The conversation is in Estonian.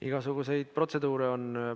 Igasuguseid protseduure on.